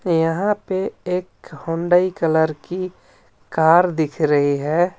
यहाँ पे एक हुंडई कलर की कार दिख रही है.